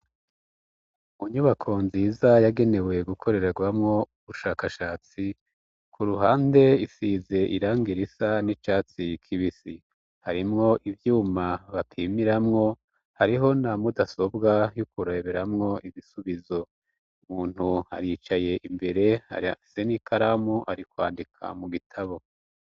Munyubako nziza yagenewe gukorererwamwo ubushakashatsi ku ruhande isize irang irisa n'icatsi kibisi harimwo ivyuma bapimiramwo hariho na mudasobwa yukuraberamwo ibisubizo umuntu aricaye imbere ari ase karamu ari kwandika mu gitabo.